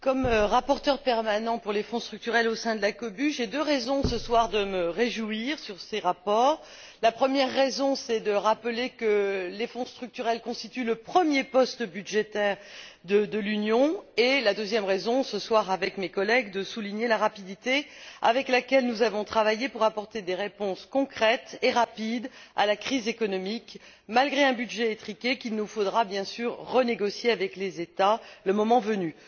Monsieur le Président, comme rapporteure permanente pour les fonds structurels au sein de la COBU, j'ai deux raisons, ce soir, de me réjouir de ces rapports. La première raison, c'est de rappeler que les fonds structurels constituent le premier poste budgétaire de l'Union, et la deuxième raison, ce soir avec mes collègues, c'est de souligner la rapidité avec laquelle nous avons travaillé pour apporter des réponses concrètes et diligentes à la crise économique, malgré un budget étriqué qu'il nous faudra, bien sûr, renégocier avec les États le moment venu.